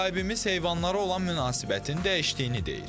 Müsahibimiz heyvanlara olan münasibətin dəyişdiyini deyir.